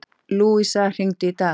Lúvísa, hringdu í Daða.